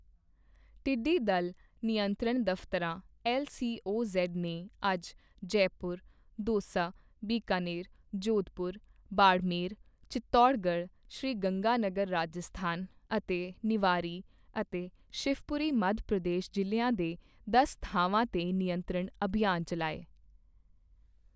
ਟਿੱਡੀਦਲ ਨਿਯੰਤਰਣ ਦਫਤਰਾਂ ਐੱਲਸੀਓਜ਼ ਨੇ ਅੱਜ ਜੈਪੁਰ, ਦੌਸਾ, ਬੀਕਾਨੇਰ, ਜੋਧਪੁਰ, ਬਾੜਮੇਰ, ਚਿਤੌੜਗੜ, ਸ਼੍ਰੀ ਗੰਗਾਨਗਰ ਰਾਜਸਥਾਨ ਅਤੇ ਨਿਵਾਰੀ ਅਤੇ ਸ਼ਿਵਪੁਰੀ ਮੱਧ ਪ੍ਰਦੇਸ਼ ਜ਼ਿਲ੍ਹਿਆਂ ਦੇ ਦਸ ਥਾਵਾਂ ਤੇ ਨਿਯੰਤਰਣ ਅਭਿਆਨ ਚੱਲਾਏ।